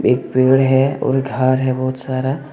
एक पेड़ है और घर है बहुत सारा।